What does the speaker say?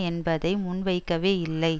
என்பதை முன்வைக்கவே இல்லை